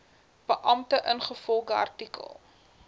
beampte ingevolge artikel